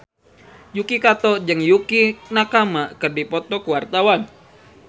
Yuki Kato jeung Yukie Nakama keur dipoto ku wartawan